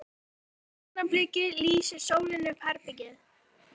Á því augnabliki lýsir sólin upp herbergið.